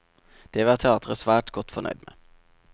Det var teatret svært godt fornøyd med.